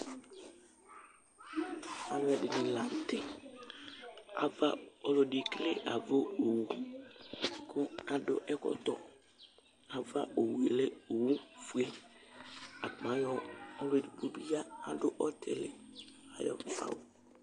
alo ɛdini lantɛ ava ɔlo ɛdi ekele ava owu kò adu ɛkɔtɔ ava owu yɛ lɛ owu fue akpa ayɔ ɔlo edigbo bi ya adu ɔtili ayi awu